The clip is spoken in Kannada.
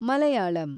ಮಲಯಾಳಂ